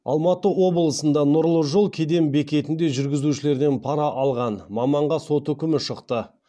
алматы облысында нұр жолы кеден бекетінде жүргізушілерден пара алған маманға сот үкімі шықты